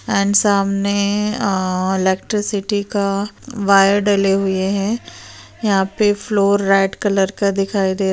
and सामने अ electricity का वायर डले हुए है यहां पर फ्लोर रेड कलर का दिखाई दे--